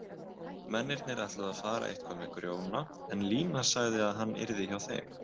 Mennirnir ætluðu að fara eitthvað með Grjóna en Lína sagði að hann yrði hjá þeim.